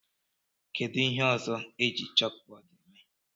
Kedu ihe ndị ọzọ eji chókbọọdụ èmè?